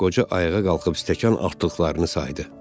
Qoca ayağa qalxıb stəkan artdıqlarını saydı.